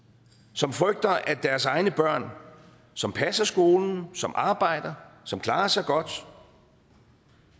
som frygter at deres egne børn som passer skolen som arbejder som klarer sig godt